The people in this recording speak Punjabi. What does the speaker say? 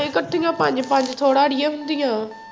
ਇੱਕਠੀਆਂ ਪੰਜ ਪੰਜ ਥੋੜ੍ਹਾ ਆੜੀਏ ਹੁੰਦੀਆਂ।